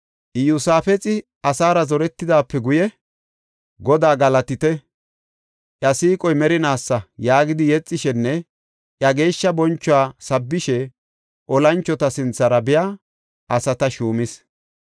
Iyosaafexi asaara zoretidaape guye, “Godaa galatite, iya siiqoy merinaasa” yaagidi yexishenne iya geeshsha bonchuwa sabbishe olanchota sinthara biya asata shuumis.